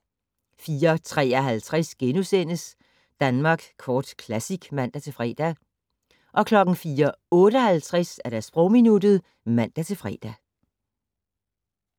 04:53: Danmark Kort Classic *(man-fre) 04:58: Sprogminuttet (man-fre)